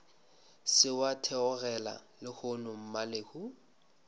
se wa theogela lehono mmalehu